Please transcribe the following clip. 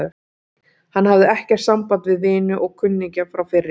Hann hafði ekkert samband við vini og kunningja frá fyrri